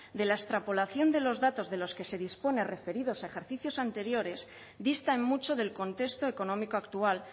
de la extrapolación de los datos de los que se dispone referidos a ejercicios anteriores distan mucho del contexto económico actual